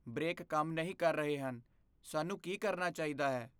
Break ਕੰਮ ਨਹੀਂ ਕਰ ਰਹੇ ਹਨ। ਸਾਨੂੰ ਕੀ ਕਰਨਾ ਚਾਹੀਦਾ ਹੈ?